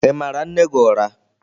Ị mara nne gị ụra?